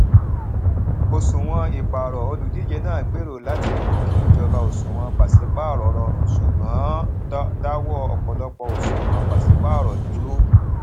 òṣùwọn ìpààrọ olùdíje náà gbèrò láti mú kí ìjọba òṣùwọn pàṣípààrọ rọrùn ṣùgbọn dáwọ ọpọlọpọ òṣùwọn pàṣípààrọ dúró